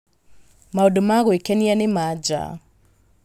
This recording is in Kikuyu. Maũndũ ma gwĩkenia ma nja;